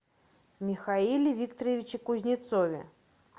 михаиле викторовиче кузнецове